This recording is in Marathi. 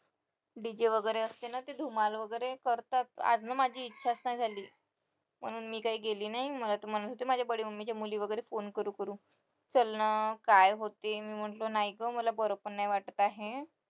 DJ वगैरे असते ना तिथे धमाल वगैरे करतात आजना माझी इच्छाच नाही झाली म्हणून मी काही गेली नाही म्हणत होते माझे mummy चे फोन करून करून चलना काय होते मी म्हंटलं नाही ग मला बरं पण वाटत नाही आहे